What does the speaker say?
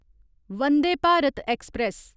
Vande Bharat express